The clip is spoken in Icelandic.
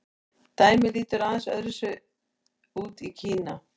dæmið lítur aðeins öðru vísi út í kína